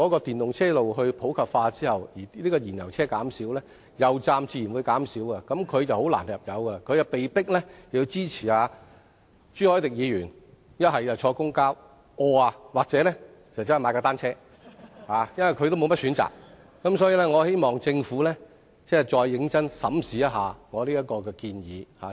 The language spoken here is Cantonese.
電動車普及化後，燃油車會減少，油站也自然會減少，燃油車車主要入油便會很困難，被迫支持朱凱廸議員的建議，乘搭公共交通工具或踏單車，因為他們沒有選擇，所以我希望政府再認真審視我這項建議。